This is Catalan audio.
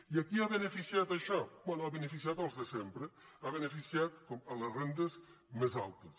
i a qui ha beneficiat això bé ha beneficiat els de sempre ha beneficiat les rendes més altes